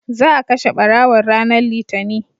za a kashe ɓarawon ranar litani